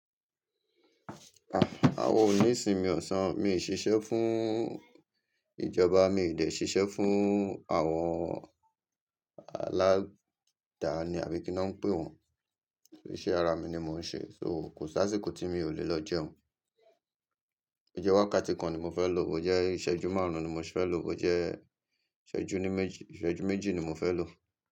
Àwọn oní ìsinmi ọ̀sán, mi ò ṣiṣẹ́ fún ìjọba, mi ò de ṣiṣẹ́ fún àwọn aláda ní àbí kí ni wọ́n ń pè wọ́n, iṣẹ́ ara mi ni mò ń ṣe, so kò sáàsíkò tí mi ò lè lọ jẹun. Bo jẹ wákàtí kan ni mo fẹ́ lò ó, jẹ́ ìṣẹ́jú márùn-ún ni mo fẹ́ lò ó, jẹ́ ìṣẹ́jú ní méjì, ìṣẹ́jú méjì ni mo fẹ́ lò ó.